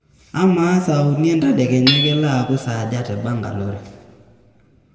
amaa saa uni entadekenya kelo aaaku saaja te bangalore